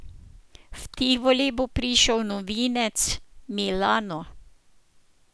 V Tivoli bo prišel novinec Milano.